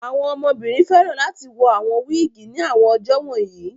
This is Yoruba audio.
Àwọn ọmọbìnrin fẹ́ràn láti wọ awon wiigi ní àwọn ọjọ́ wọ̀nyí